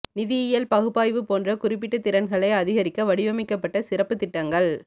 நிதியியல் பகுப்பாய்வு போன்ற குறிப்பிட்ட திறன்களை அதிகரிக்க வடிவமைக்கப்பட்ட சிறப்பு திட்டங்கள்